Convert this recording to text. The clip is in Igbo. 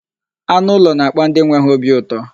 Anụ ụlọ na-akpa ndị nwe ha obi ụtọ.